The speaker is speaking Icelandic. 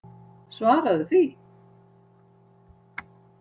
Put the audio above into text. Svaraðu því.